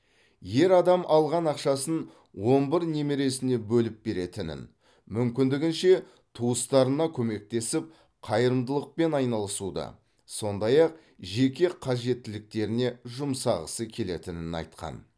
ер адам алған ақшасын он бір немересіне бөліп беретінін мүмкіндігінше туыстарына көмектесіп қайырымдылықпен айналысуды сондай ақ жеке қажеттіліктеріне жұмсағысы келетінін айтқан